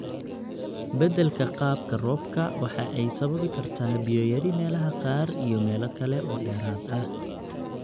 Beddelka qaabka roobka waxa ay sababi kartaa biyo yari meelaha qaar iyo meelo kale oo dheeraad ah.